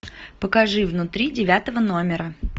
покажи внутри девятого номера